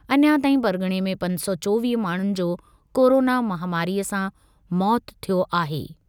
अञा ताईं परग॒णे में पंज सौ चोवीह माण्हुनि जो कोरोना महामारीअ सां मौतु थियो आहे।